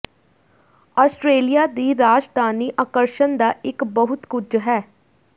Australia ਦੀ ਰਾਜਧਾਨੀ ਆਕਰਸ਼ਣ ਦਾ ਇੱਕ ਬਹੁਤ ਕੁਝ ਹੈ